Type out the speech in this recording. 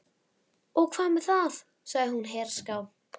Og hvað með það? sagði hún herská.